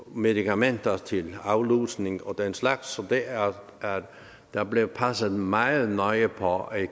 medikamenter til aflusning og den slags så der bliver passet meget nøje på at